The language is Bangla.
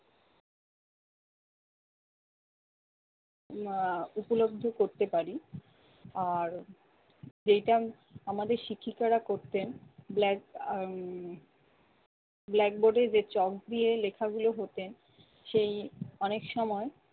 আহ উপলব্ধি করতে পারি। আর যেইটা আমাদের শিক্ষিকারা করতেন black আহ blackboard এর চক দিয়ে লেখাগুলো হতেন সেই অনেক সময়